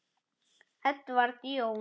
Edward Jón.